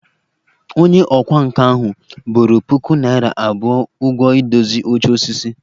Onye ọkwá nkà ahụ boro puku naira abụọ ụgwọ idozi oche osisi